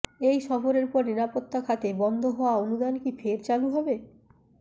এই সফরের পর নিরাপত্তাখাতে বন্ধ হওয়া অনুদান কি ফের চালু হবে